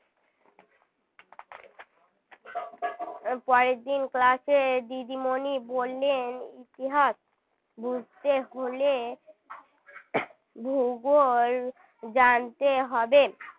পরের দিন class এ দিদিমণি বললেন ইতিহাস বুঝতে হলে ভূগোল জানতে হবে